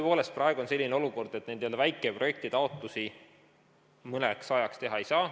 Tõepoolest, praegu on selline olukord, et neid n-ö väikeprojektitaotlusi mõnda aega teha ei saa.